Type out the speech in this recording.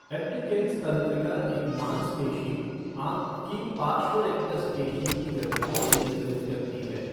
Abducens तंत्रिका एक मांसपेशी, आँख के पार्श्व रेक्टस पेशी की गति को नियंत्रित करती है।